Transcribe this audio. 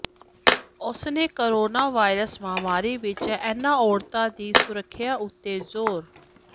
ਉਸਨੇ corona virus ਮਹਾਂਮਾਰੀ ਵਿੱਚ ਇਨ੍ਹਾਂ ਔਰਤਾਂ ਦੀ ਸੁਰੱਖਿਆ ਉੱਤੇ ਜ਼ੋਰ